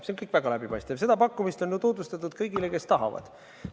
See on kõik väga läbipaistev, seda pakkumist on ju tutvustatud kõigile, kes tahavad.